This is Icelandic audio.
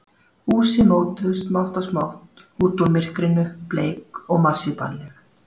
Húsin mótuðust smátt og smátt út úr myrkrinu, bleik og marsípanleg.